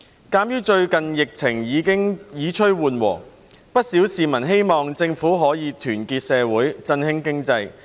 鑒於最近疫情已趨緩和，不少市民希望政府可團結社會，振興經濟。